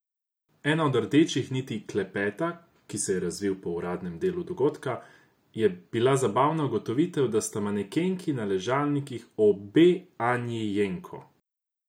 Ena od rdečih niti klepeta, ki se je razvil po uradnem delu dogodka, je bila zabavna ugotovitev, da sta manekenki na ležalnikih obe Anji Jenko.